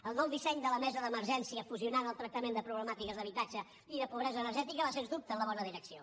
el nou disseny de la mesa d’emergència fusionant el tractament de problemàtiques d’habitatge i de pobresa energètica va sens dubte en la bona direcció